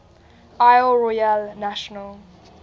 isle royale national